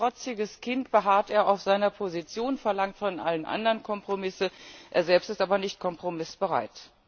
Wie ein trotziges Kind beharrt er auf seiner Position, verlangt von allen anderen Kompromisse, er selbst ist aber nicht kompromissbereit.